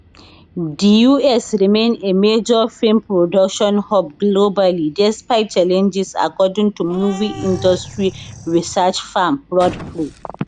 di us remain a major film production hub globally despite challenges according to movie industry research firm prodpro